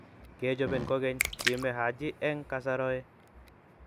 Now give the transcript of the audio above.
Kechobin kokeny, kime Haji eng kasaroe.